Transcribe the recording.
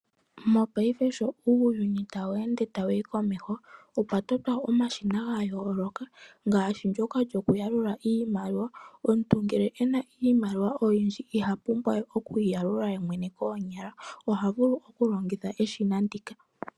Mongaashingeyi sho uuyuni ta weende tawuyi komeho opwa totwa omashina ga yooloka ngaashi ndyoka lyokuyalula iimaliwa. Omuntu uuna e na iimaliwa oyindji iha pumbwa we okuyi yalula yemwene koonyala oha vulu okulongitha eshina ndika.